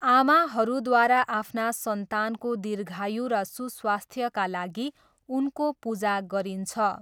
आमाहरूद्वारा आफ्ना सन्तानको दीर्घायु र सुस्वास्थ्यका लागि उनको पूजा गरिन्छ।